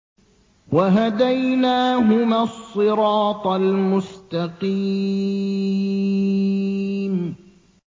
وَهَدَيْنَاهُمَا الصِّرَاطَ الْمُسْتَقِيمَ